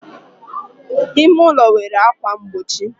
ime ụlọ nwere ákwà mgbochi